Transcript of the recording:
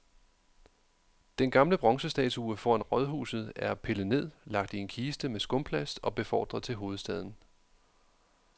Den gamle bronzestatue foran rådhuset er pillet ned, lagt i en kiste med skumplast og befordret til hovedstaden.